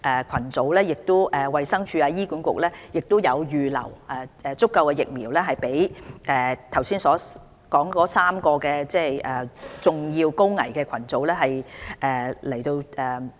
當然，衞生署和醫管局已預留足夠疫苗供上述3個主要高危群組人士接種。